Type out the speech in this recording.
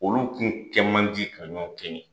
Olu nun kɛ man di ka ɲɔgɔn kɛɲɛ.